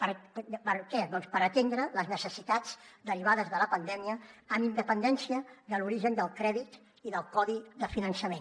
per què doncs per atendre les necessitats derivades de la pandèmia amb independència de l’origen del crèdit i del codi de finançament